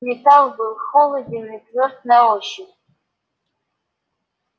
металл был холоден и твёрд на ощупь